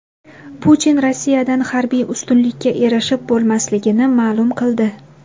Putin Rossiyadan harbiy ustunlikka erishib bo‘lmasligini ma’lum qildi.